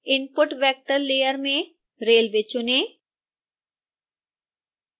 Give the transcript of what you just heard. input vector layer में railway चुनें